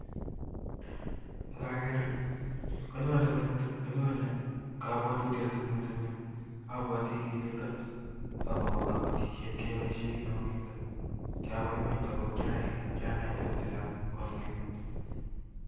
Ngakeer konyone kabwatutiet Eng metetit apwatintugun Chechang kyabaibaitu kot missing